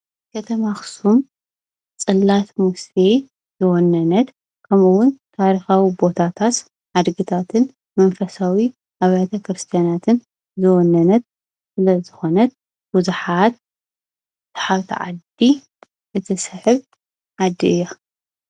ከተማ አኽሱም ፅላተ ሙሴ ዝወነነት፣ ከምኡ'ዉን ታሪኻዊ ቦታታት ሓድግታትን መንፈሳዊ ኣብያተ ክርስትያናትን ዝወነነት ስለ ዝኾነት ንብዙሓት ሰሓብቲ ዓዲ እትስሕብ ዓዲ እያ ።